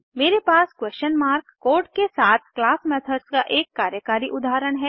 मेरे पास question mark code के साथ क्लास मेथड्स का एक कार्यकारी उदाहरण है